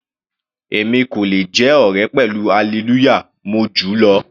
Èmi kò le jẹ́ ọ̀rẹ́ pẹ̀lú Hallelujah, mo júù lọ.